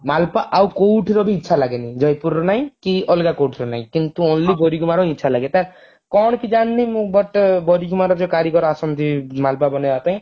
ମାଲପୁଆ ଆଉ କଉଠିର ବି ଇଛା ଲାଗେନି ଜଯପୁରର ନାଇ କି ଆଲଗା କଉଠିର ନାଇ କିନ୍ତୁ only ବାରିଗୁମାର ଇଚ୍ଛା ଲାଗେ ତାର କଣ କି ଜାଣିନି ମୁଁ but ବାରିଗୁମାର ଯଉ କାରିଗର ଆସନ୍ତି ମାଲପୁଆ ବନେଇବା ପାଇଁ